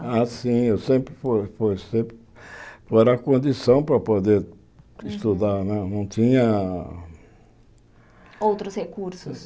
Ah, sim, eu sempre fui fui, sempre, era condição para poder estudar, não não tinha... Outros recursos?